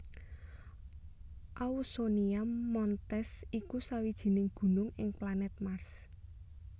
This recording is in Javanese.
Ausonia Montes iku sawijining gunung ing planèt Mars